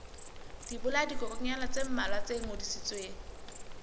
dibolayakokwanyana tse mmalwa tse ngodisitsweng